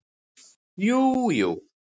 Jú jú